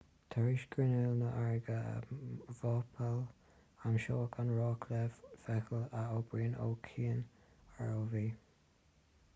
tar éis grinneall na farraige a mhapáil aimsíodh an raic le feithicil a oibríonnn ó chian rov